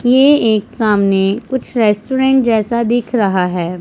ये एक सामने कुछ रेस्टोरेंट जैसा दिख रहा है।